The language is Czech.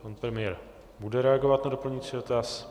Pan premiér bude reagovat na doplňující dotaz.